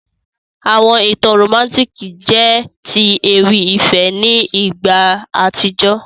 Àwọn ìtàn romantiki jẹ ti ewì ìfẹ́ ni ìgbà àtíjó.